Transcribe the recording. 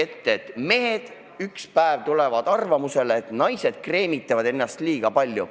Kujutage ette, et mehed ükspäev tulevad arvamusele, et naised kreemitavad ennast liiga palju.